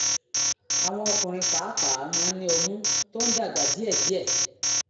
àwọn ọkùnrin pàápàá máa ń ní ọmú tó ń dàgbà díẹ̀díẹ̀